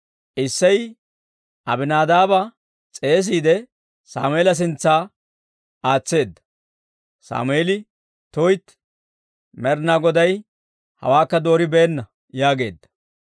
Isseyi Abinaadaaba s'eesiide, Sammeela sintsa aatseedda; Sammeeli, «tuytti; Med'inaa Goday hawaakka dooribeenna» yaageedda.